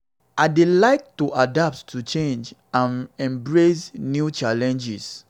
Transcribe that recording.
i dey learn to adapt to changes and embrace new challenges.